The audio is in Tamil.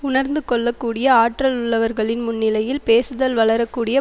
உளர்ந்து கொள்ள கூடிய ஆற்றல் உள்ளவர்களின் முன்னிலையில் பேசுதல் வளர கூடிய